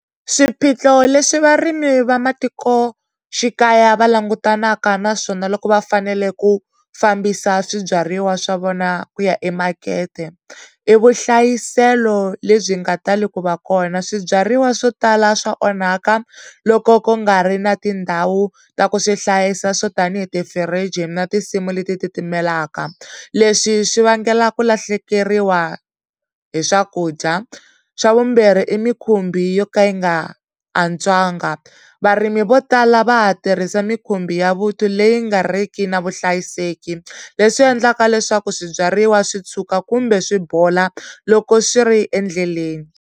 Swiphiqo leswi varimi va matikoxikaya va langutanaka na swona loko va fanele ku fambisa swibyariwa swa vona ku ya emakete i vuhlayiselo lebyi nga tali ku va kona swibyariwa swo tala swa onhaka loko ku nga ri na tindhawu ta ku swi hlayisa swo tanihi tifirijini na tinsimu leti titimelaka leswi swi vangela ku lahlekeriwa hi swakudya xa vumbirhi i mikhumbi yo ka yi nga antswanga varimi vo tala va ha tirhisa mikhumbi ya vuthu leyi nga riki na vuhlayiseki leswi endlaka leswaku swibyariwa swi tshuka kumbe swi bola loko swi ri endleleni.